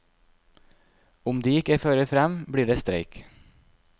Om de ikke fører frem, blir det streik.